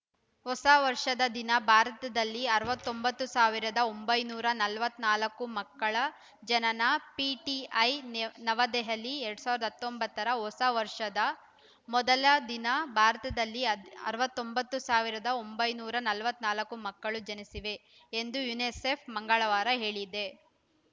ಹೊಸ ವರ್ಷದ ದಿನ ಭಾರತದಲ್ಲಿ ಅರವತ್ತ್ ಒಂಬತ್ತು ಸಾವಿರದ ಒಂಬೈನೂರ ನಲವತ್ತ್ ನಾಲ್ಕು ಮಕ್ಕಳ ಜನನ ಪಿಟಿಐ ನೈ ವ್ ನವದೆಹಲಿ ಎರಡ್ ಸಾವಿರದ ಹತ್ತೊಂಬತ್ತ ರ ಹೊಸ ವರ್ಷದ ಮೊದಲ ದಿನ ಭಾರತದಲ್ಲಿ ಅರವತ್ತ್ ಒಂಬತ್ತು ಸಾವಿರ ಒಂಬೈನೂರ ನಲವತ್ತ್ ನಾಲ್ಕು ಮಕ್ಕಳು ಜನಿಸಿವೆ ಎಂದು ಯುನಿಸೆಫ್‌ ಮಂಗಳವಾರ ಹೇಳಿದೆ